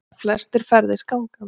Flestir ferðist gangandi